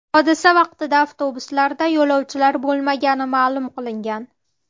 Hodisa vaqtida avtobuslarda yo‘lovchilar bo‘lmagani ma’lum qilingan.